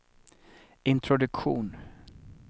introduktion